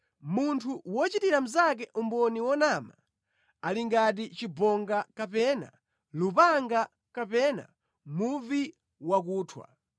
Munthu wochitira mnzake umboni wonama, ali ngati chibonga kapena lupanga kapena muvi wakuthwa.